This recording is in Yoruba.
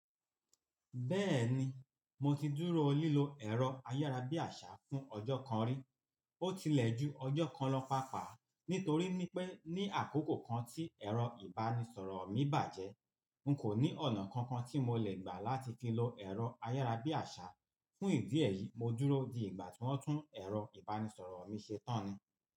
Bẹ́ẹ̀ni, mo ti dúró lílo ẹ̀rọ ayárabíàṣá fún ọjọ́ kan rí, ó tilẹ̀ ju ọjọ́ kan lọ pàápàá. Nítorí pé ní àkókò kan tí ẹ̀rọ ìbánisọ̀rọ̀ mi bàjẹ́, n kò ní ọ̀nà kankan tí mo le gbà láti fi lo ẹ̀rọ ayárabíàṣá fún ìdí ẹ̀ yìí, mo dúró di ìgbà tí wọ́n tún ẹ̀rọ ìbánisọ̀rọ̀ mi ṣe tán ni.